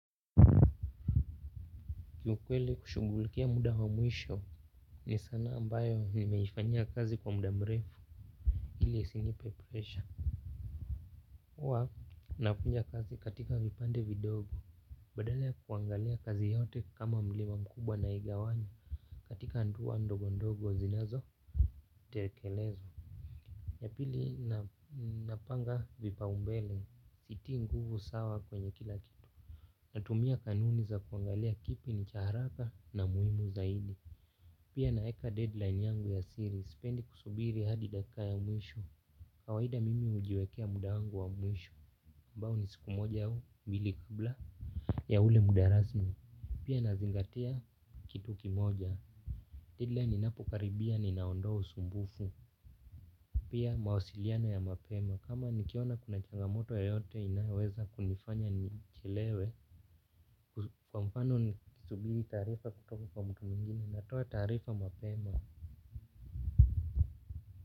Kiukwele kushugulikia muda wa mwisho. Ni sanaa ambayo nimeifanyia kazi kwa muda mrefu ili isinipe pressure. Uwa nakunja kazi katika vipande vidogo. Badala ya kuangalia kazi yote kama mlima mkubwa na igawanya katika nduwa ndogo ndogo zinazo tekelezwa. Ya pili napanga vipa umbele sitii nguvu sawa kwenye kila kitu. Natumia kanuni za kuangalia kipi ni cha haraka na muhimu zaidi. Pia naeka deadline yangu ya siri, sipendi kusubiri hadi dakika ya mwisho. Kawaida mimi hujiwekea muda wangu wa mwisho ambao ni siku moja au, mbili kabla ya ule muda rasmi. Pia nazingatia kitu kimoja Deadline inapokaribia ni naondoa usumbufu. Pia mawasiliano ya mapema, kama nikiona kuna changamoto yoyote inaweza kunifanya nichelewe. Kwa mfano nikisubiri taarifa kutoka kwa mtu mwingine natoa taarifa mapema.